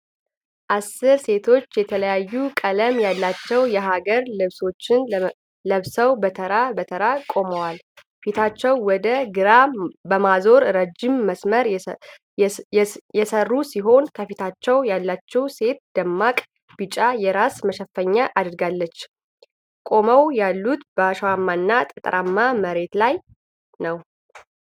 አሥር ሴቶች የተለያዩ ቀለም ያላቸው የሀገር ልብሶችን ለብሰው በተራ በተራ ቆመዋል። ፊታቸውን ወደ ግራ በማዞር ረጅም መስመር የሠሩ ሲሆን፣ ከፊታቸው ያለችው ሴት ደማቅ ቢጫ የራስ መሸፈኛ አድርጋለች። ቆመው ያሉት በአሸዋማና ጠጠራማ መሬት ላይ ነው።